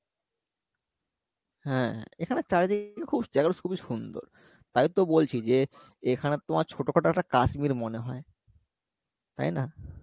হ্যাঁ এখানে চারিদিকে খুব জায়গাটা খুবই সুন্দর তাই তো বলছি যে এখানে তোমার ছোটো খাটো একটা কাশ্মীর মনে হয়, তাই না?